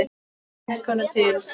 Hvað gekk honum til?